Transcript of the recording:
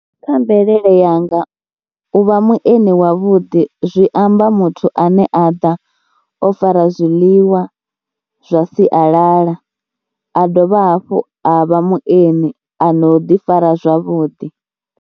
Kha mvelele yanga u vha muenii wavhuḓi zwi amba muthu ane a ḓa o fara zwiḽiwa zwa sialala, a dovha hafhu a vha muenii ano ḓifara zwavhuḓi.